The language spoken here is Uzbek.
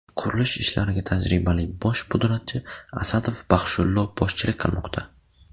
Qurilish ishlariga tajribali bosh pudratchi Asadov Baxshullo boshchilik qilmoqda.